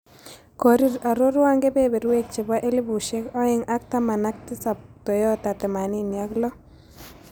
Korir aroruan Kebeeberweek chepo elibusiek aeng' ak taman ak tisap toyota themanini ak loo